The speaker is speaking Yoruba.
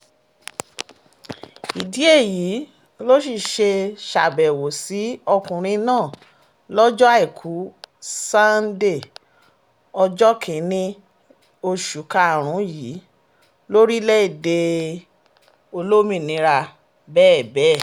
ìdí èyí ló sì ṣe ṣàbẹ̀wò sí ọkùnrin náà lọ́jọ́ àìkú sanńdé ọjọ́ kìn-ín-ní oṣù karùn-ún yìí lórílẹ̀‐èdè olómìnira bẹ́bẹ̀